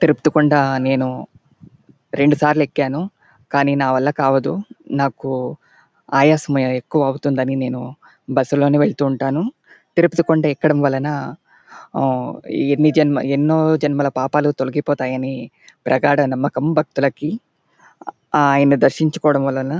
తిరుపతి కొండా నేను రెండు సార్లు ఎక్కాను. కానీ నావల్ల అవ్వదు నాకు ఆయాసం ఎక్కువవుతుంది అని నేను బస్సు లోనే వెళ్తుంటాను. తిరుపతి కొండా ఎక్కడం వలన ఆహ్ ఎన్నో జన్మల పాపాలు తొలిపోతాయ్ అని ప్రగాఢ నమ్మకం భక్తులకి. ఆహ్ ఆయన్ని దర్శించడం వలన--